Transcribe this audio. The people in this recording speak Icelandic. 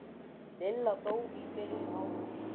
Lilla dó í byrjun ágúst.